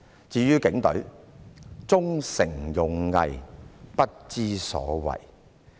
至於警隊，"忠誠勇毅，不知所謂！